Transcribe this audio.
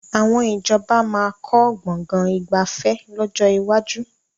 Àwọn ìjọba máa kọ́ Gbọ̀ngán ìgbafẹ́ lọ́jọ́ iwájú